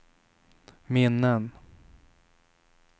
minnen